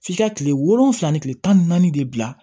F'i ka kile wolonwula ni kile tan ni naani de bila